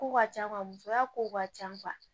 Kow ka ca musoya kow ka ca